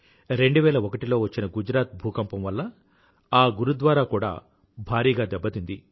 2001లో వచ్చిన గుజరాత్ భూకంపం వల్ల ఆ గురుద్వారాకు కూడా భారీగా దెబ్బతింది